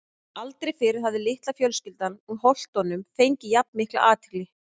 Aldrei fyrr hafði litla fjölskyldan úr Holtunum fengið jafn mikla athygli.